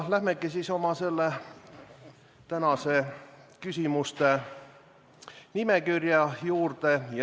Lähmegi tänase küsimuste nimekirja juurde.